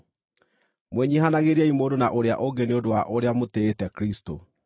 Mwĩnyiihanagĩriei mũndũ na ũrĩa ũngĩ nĩ ũndũ wa ũrĩa mũtĩĩte Kristũ.